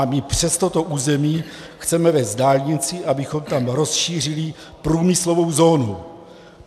A my přes toto území chceme vést dálnici, abychom tam rozšířili průmyslovou zónu.